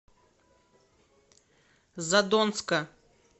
задонска